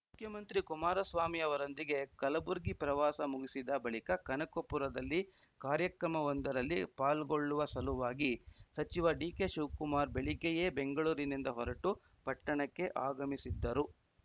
ಮುಖ್ಯಮಂತ್ರಿ ಕುಮಾರಸ್ವಾಮಿ ಅವರೊಂದಿಗೆ ಕಲಬುರ್ಗಿ ಪ್ರವಾಸ ಮುಗಿಸಿದ ಬಳಿಕ ಕನಕಪುರದಲ್ಲಿ ಕಾರ್ಯಕ್ರಮವೊಂದರಲ್ಲಿ ಪಾಲ್ಗೊಳ್ಳುವ ಸಲುವಾಗಿ ಸಚಿವ ಡಿಕೆಶಿವಕುಮಾರ್‌ ಬೆಳಗ್ಗೆಯೇ ಬೆಂಗಳೂರಿನಿಂದ ಹೊರಟು ಪಟ್ಟಣಕ್ಕೆ ಆಗಮಿಸಿದ್ದರು